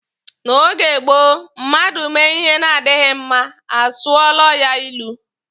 N'oge gboo mmadụ mee ihe na-adịghi mma, a sụọla ya ilu.